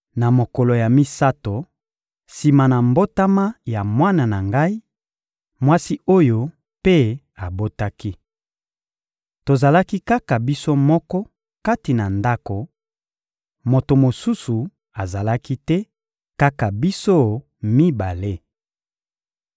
Na mokolo ya misato sima na mbotama ya mwana na ngai, mwasi oyo mpe abotaki. Tozalaki kaka biso moko kati na ndako, moto mosusu azalaki te, kaka biso mibale.